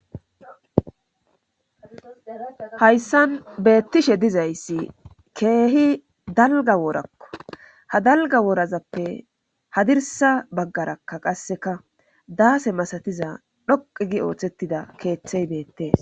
Hayssan beettishe dizayssi keehi dalga woorakko ha dalga woorazappe hadirsa baggarakka qasseka daase masatiza dhoqi gi ooththettida keeththey beettees